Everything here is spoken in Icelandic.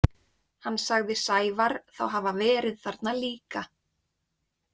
Hann sagði Sævar þá hafa verið þarna líka.